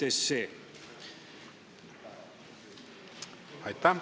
Aitäh!